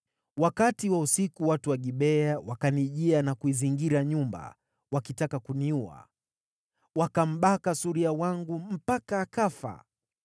Wakati wa usiku watu wa Gibea wakanijia na kuizingira nyumba, wakitaka kuniua. Wakambaka suria wangu mpaka akafa.